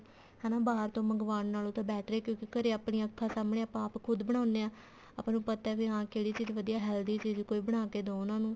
ਹਨਾ ਬਾਹਰ ਤੋਂ ਮੰਗਵਾਉਣ ਨਾਲੋ ਤਾਂ better ਹੈ ਕਿਉਂਕਿ ਘਰੇ ਆਪਾਂ ਆਪਣੀਆਂ ਅੱਖਾ ਸਾਹਮਣੇ ਆਪਾਂ ਖੁਦ ਬਣਾਉਂਦੇ ਹਾਂ ਆਪਾਂ ਨੂੰ ਪਤਾ ਵੀ ਹਾਂ ਕਿਹੜੀ ਚੀਜ਼ ਵਧੀਆ healthy ਚੀਜ਼ ਕੀ ਬਣਾ ਕੇ ਦੋ ਉਹਨਾ ਨੂੰ